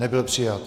Nebyl přijat.